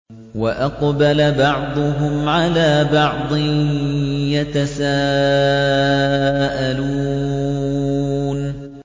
وَأَقْبَلَ بَعْضُهُمْ عَلَىٰ بَعْضٍ يَتَسَاءَلُونَ